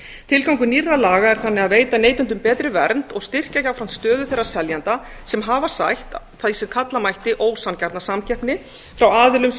tilgangur nýrra laga er þannig að veita neytendum betri vernd og styrkja jafnframt stöðu þeirra seljenda sem hafa sætt því sem kalla mætti ósanngjarna samkeppni frá aðilum sem